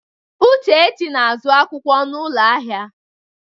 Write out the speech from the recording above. Uchechi na-azụ akwụkwọ n'ụlọ ahịa.